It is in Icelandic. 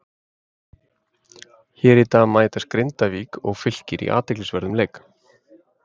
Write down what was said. Hér í dag mætast Grindavík og Fylkir í athyglisverðum leik.